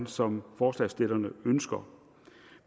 som forslagsstillerne ønsker